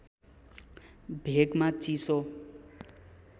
भेगमा चिसो